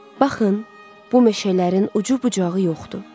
Baxın, bu meşələrin ucu-bucağı yoxdur.